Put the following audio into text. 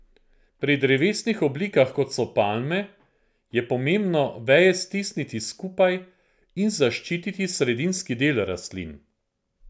Pri drevesnih oblikah, kot so palme, je pomembno veje stisniti skupaj in zaščititi sredinski del rastlin.